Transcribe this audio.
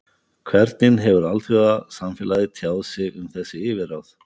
Hvernig hefur alþjóðasamfélagið tjáð sig um þessi yfirráð?